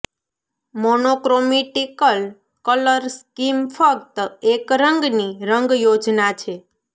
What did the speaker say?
monochromatic colour scheme ફક્ત એક રંગની રંગ યોજના છે